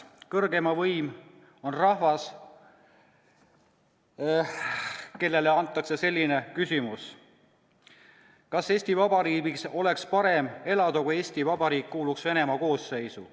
Kõrgeim võim on rahvas, kellele esitatakse selline küsimus: "Kas Eesti Vabariigis oleks parem elada, kui Eesti Vabariik kuuluks Venemaa koosseisu?